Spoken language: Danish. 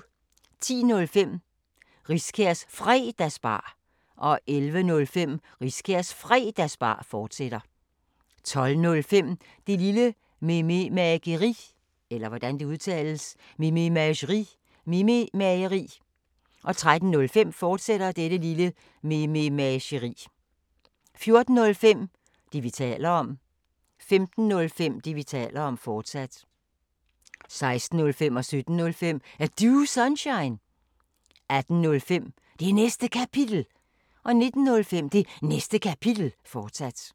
10:05: Riskærs Fredagsbar 11:05: Riskærs Fredagsbar, fortsat 12:05: Det Lille Mememageri 13:05: Det Lille Mememageri, fortsat 14:05: Det, vi taler om 15:05: Det, vi taler om, fortsat 16:05: Er Du Sunshine? 17:05: Er Du Sunshine? 18:05: Det Næste Kapitel 19:05: Det Næste Kapitel, fortsat